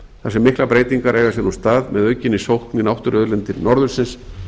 þar sem miklar breytingar eiga sér nú stað með aukinni sókn í náttúruauðlindir norðursins